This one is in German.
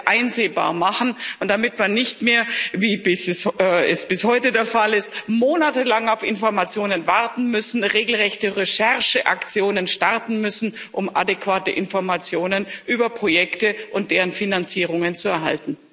einsehbar macht, damit man nicht mehr, wie es bis heute der Fall ist, monatelang auf Informationen warten muss, regelrechte Rechercheaktionen starten muss, um adäquate Informationen über Projekte und deren Finanzierungen zu erhalten.